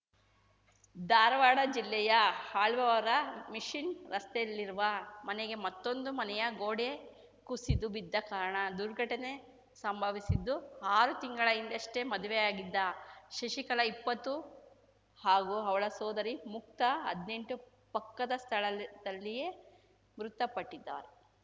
ಧಾರವಾಡ ಜಿಲ್ಲೆಯ ಅಳ್ನಾವರ ಮಿಷನ್‌ ರಸ್ತೆಯಲ್ಲಿರುವ ಮನೆಗೆ ಮತ್ತೊಂದು ಮನೆಯ ಗೋಡೆ ಕುಸಿದು ಬಿದ್ದ ಕಾರಣ ದುರ್ಘಟನೆ ಸಂಭವಿಸಿದ್ದು ಆರು ತಿಂಗಳ ಹಿಂದಷ್ಟೇ ಮದುವೆಯಾಗಿದ್ದ ಶಶಿಕಲಾ ಇಪ್ಪತ್ತು ಹಾಗೂ ಅವಳ ಸಹೋದರಿ ಮುಕ್ತಾ ಹದ್ನೆಂಟು ಪಕ್ಕದ ಸ್ಥಳಲ್ ದಲ್ಲಿಯೇ ಮೃತಪಟ್ಟಿದ್ದಾರೆ